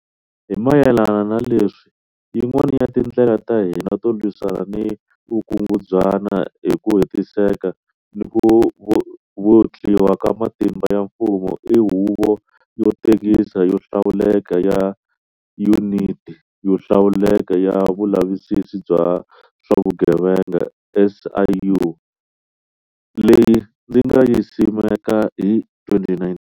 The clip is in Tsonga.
Hi mayelana na leswi, yin'wana ya tindlela ta hina to lwisana ni vukungunzwana hi ku hetiseka ni ku vutliwa ka matimba ya mfumo i Huvo yo Tengisa yo Hlawuleka ya Yuniti yo Hlawuleka ya Vulavisisi bya swa vugevenga, SIU, leyi ndzi nga yi simeka hi 2019.